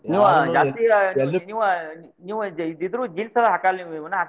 ನೀವ್ ಇದ್ರು jeans ಎಲ್ಲ ಹಕ್ಕಲ್ ನೀವ್ ನೀವುನ.